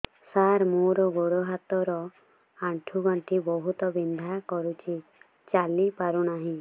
ସାର ମୋର ଗୋଡ ହାତ ର ଆଣ୍ଠୁ ଗଣ୍ଠି ବହୁତ ବିନ୍ଧା କରୁଛି ଚାଲି ପାରୁନାହିଁ